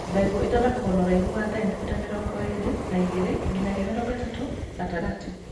Mbegũ ciakagwo na ũraihu wa sentimita mĩrongo ĩrĩ na igĩrĩ nginyagia mĩrongo ĩtatũ gatagatĩ